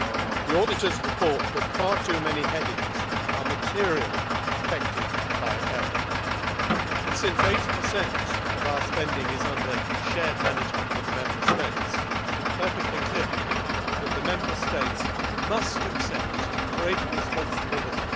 The auditors report that far too many headings are materially affected by error and, since 80 of our spending is under shared management with the Member States, it is perfectly clear that the Member States must accept greater responsibility.